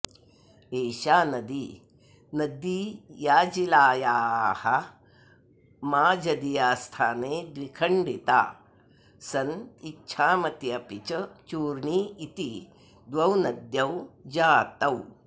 एषा नदी नदीयाजिलायाः माजदियास्थाने द्विखण्डिता सन् इच्छामती अपि च चूर्णी इति द्वौ नद्यौ जातौ